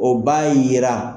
O b'a yira.